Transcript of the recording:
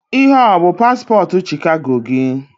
Ihe a o-bụ paspọtụ Chicago gị?